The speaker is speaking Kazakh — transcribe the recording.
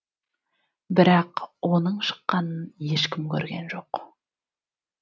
бірақ оның шыққанын ешкім көрген жоқ